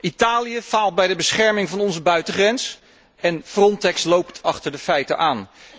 Italië faalt bij de bescherming van onze buitengrens en Frontex loopt achter de feiten aan.